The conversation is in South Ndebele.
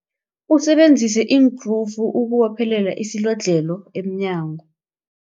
Usebenzise iinkrufu ukubophelela isilodlhelo emnyango.